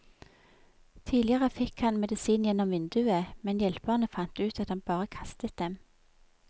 Tidligere fikk han medisin gjennom vinduet, men hjelperne fant ut at han bare kastet dem.